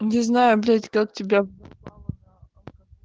не знаю блять как тебя